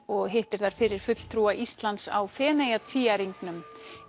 og hittir þar fyrir fulltrúa Íslands á Feneyjatvíæringnum